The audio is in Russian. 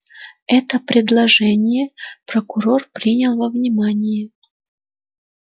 это предположение прокурор принял во внимание